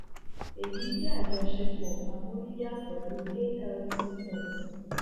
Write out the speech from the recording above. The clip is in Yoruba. èyí jẹ àjọṣepọ amóríyá pẹlú altx